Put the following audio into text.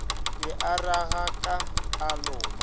be a ragaka a loma